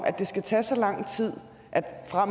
at det skal tage så lang tid